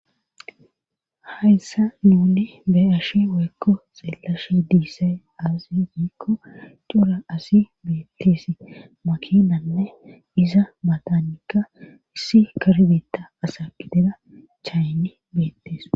Hayssa nuni be ashe weekko xeelashe diissay asi giikko cura asi beettisi makinanne iza maatanikka issi karbeta asaqidera chaynni beettes